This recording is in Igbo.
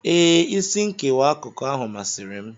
Ee, isi nkewa n'akụkụ ahụ masịrị m.